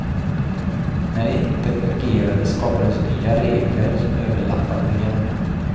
När det inte fungerade skapades nya regler som överlappade de gamla.